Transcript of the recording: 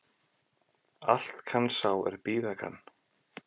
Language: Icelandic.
Allt kann sá er bíða kann